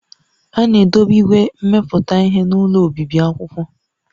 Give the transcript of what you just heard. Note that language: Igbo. A na-edobe igwe mmepụta ihe n'ụlọ obibi akwụkwọ